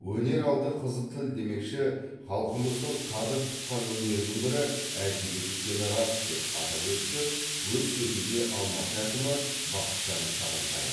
өнер алды қызыл тіл демекші халқымыздың қадір тұтқан өнерінің бірі әдебиет екені рас деп атап өтті өз сөзінде алматы әкімі бақытжан сағынтаев